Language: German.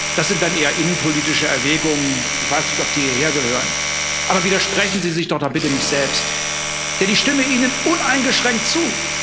Das sind dann eher innenpolitische Erwägungen ich weiß nicht, ob die hierher gehören. Aber widersprechen Sie sich doch dann bitte nicht selbst, denn ich stimme Ihnen uneingeschränkt zu.